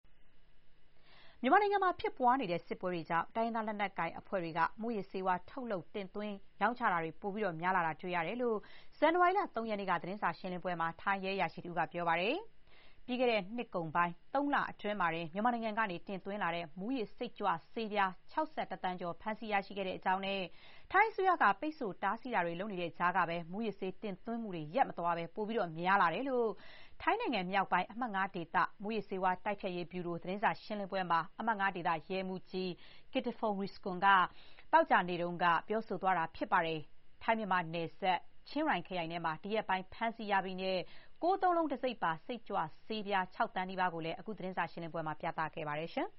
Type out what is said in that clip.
မြန်မာနိုင်ငံမှာ ဖြစ်ပွားနေတဲ့ စစ်ပွဲတွေကြောင့် တိုင်းရင်းသား လက်နက်ကိုင်အဖွဲ့တွေက မူးယစ်ဆေးဝါး ထုတ်လုပ် တင်သွင်းတာတွေ ပိုများလာတာ တွေ့ရတယ်လို့ ဇန်နဝါရီလ ၃ ရက်နေ့က သတင်းစာ ရှင်းလင်းပွဲမှာ ထိုင်းရဲအရာရှိတဦးက ပြောပါတယ်။ ပြီးခဲ့တဲ့ နှစ်ကုန်ပိုင်း ၃ လအတွင်းမှာတင် မြန်မာနိုင်ငံကနေ တင်သွင်းလာတဲ့ မူးယစ် စိတ်ကြွဆေးပြား ၆၁ သန်းကျော် ဖမ်းဆီး ရရှိခဲ့ကြောင်းနဲ့ ထိုင်းအစိုးရက ပိတ်ဆို့ တားဆီးတာတွေ လုပ်နေတဲ့တိုင်အောင် မူးယစ်ဆေး တင်သွင်းမှုတွေ မရပ်သွားဘဲ ပို များလာတဲ့အကြောင်း ထိုင်းမြောက်ပိုင်း အမှတ် ၅ ဒေသ မူးယစ်ဆေးဝါး တိုက်ဖျက်ရေး ဗျူရို သတင်းစာရှင်းလင်းပွဲမှာ အမှတ် ၅ ဒေသ ရဲမှူးကြီး ကစ်ထဖုန်း ရီစကွန် Kritthaphon Yisakorn က သောကြာနေ့က ပြောဆိုသွားတာပါ။ ထိုင်း−မြန်မာနယ်စပ် ချင်းရိုင်ခရိုင်ထဲမှာ ဒီရက်ပိုင်း ဖမ်းဆီး ရမိတဲ့ ၉၉၉ တံဆိပ်ပါ စိတ်ကြွဆေးပြား ၆ သန်းနီးပါးကိုလည်း အခုသတင်းစာရှင်းလင်းပွဲမှာ ပြသခဲ့ပါတယ်